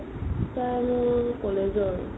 তাই মোৰ college ৰ